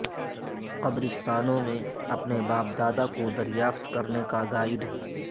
قبرستانوں میں اپنے باپ دادا کو دریافت کرنے کا گائیڈ